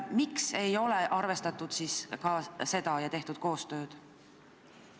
Miks ei ole neid arvestatud ja tehtud koostööd?